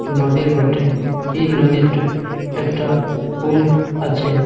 নদীর বটে এই নদীতে একটা হুইল আছে।